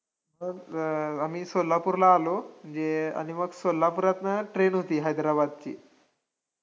मग आम्ही सोलापूरला आलो, म्हणजे आणि मग सोलापूरातनं train होती हैद्राबादची